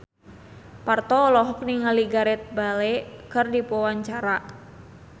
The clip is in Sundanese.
Parto olohok ningali Gareth Bale keur diwawancara